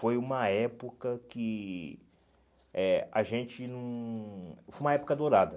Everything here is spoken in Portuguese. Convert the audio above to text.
Foi uma época que eh a gente hum... Foi uma época dourada.